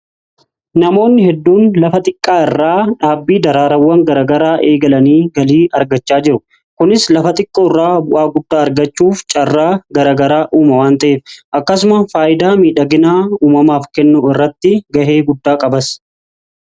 Namoonni hedduun lafa xiqqaa irraa dhaabbii daraarawwan garagaraa eegalanii galii argachaa jiru. Kunis lafa xiqqoo irraa bu'aa guddaa argachuuf caarraa garagaraa uuma waan ta'eef akkasuma faayidaa miidhaginaa uumamaaf kennu irratti gahee guddaa qabas.